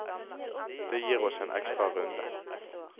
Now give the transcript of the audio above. Det gir oss en ekstra runde.